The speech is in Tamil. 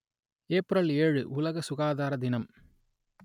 ஏப்ரல் ஏழு உலக சுகாதர தினம்